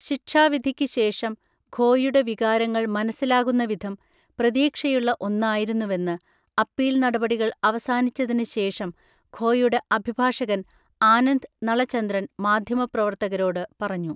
ശിക്ഷാവിധിക്ക് ശേഷം ഖോയുടെ വികാരങ്ങൾ മനസിലാകുന്ന വിധം പ്രതീക്ഷയുള്ള ഒന്നായിരുന്നുവെന്ന് അപ്പീൽ നടപടികൾ അവസാനിച്ചതിന് ശേഷം ഖോയുടെ അഭിഭാഷകൻ ആനന്ദ് നളചന്ദ്രൻ മാധ്യമപ്രവർത്തകരോട് പറഞ്ഞു.